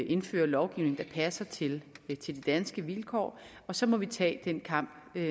indføre lovgivning der passer til de danske vilkår og så må vi tage den kamp med